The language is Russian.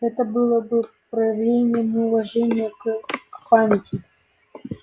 это было бы проявлением неуважения к э к памяти